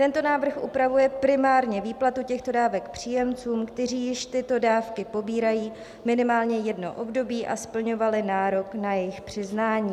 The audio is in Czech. Tento návrh upravuje primárně výplatu těchto dávek příjemcům, kteří již tyto dávky pobírají minimálně jedno období a splňovali nárok na jejich přiznání.